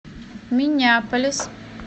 миннеаполис